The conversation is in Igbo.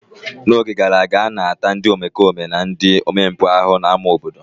N'oge gara aga, a na-ata ndị omempụ na ndị omekome ahụhụ n'ámá obodo.